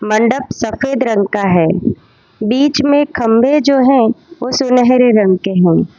मंडप सफेद रंग का है बीच में खंभे जो हैं वो सुनहरे रंग के हैं।